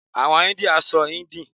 Àwọn India sọ hindi.